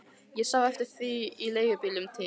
Ég sá eftir því í leigubílnum til